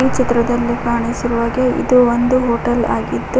ಚಿತ್ರದಲ್ಲಿ ಕಾಣಿಸುವ ಹಾಗೆ ಇದು ಒಂದು ಹೋಟೆಲ್ ಆಗಿದ್ದು--